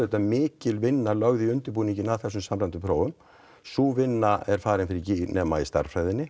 mikil vinna lögð í undirbúninginn að þessum samræmdu prófum sú vinna er farin fyrir gíg nema í stærðfræðinni